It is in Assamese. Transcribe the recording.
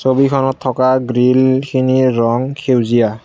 ছবিখনত থকা গ্ৰীল খিনিৰ ৰং সেউজীয়া।